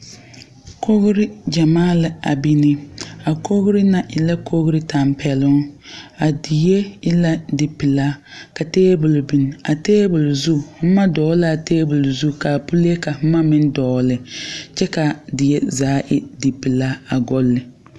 Kogre yamaa la a bine. A kogre na e la kogre tampɛluŋ. A die e la di pulaa ka tabul biŋ. A tabul zu, boma dogle la a tabul zu. Ka pule ka boma meŋ dogle. Kyɛ ka a die zaa e di pulaa a gɔli.